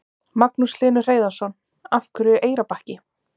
Magnús Hlynur Hreiðarsson: Af hverju Eyrarbakki?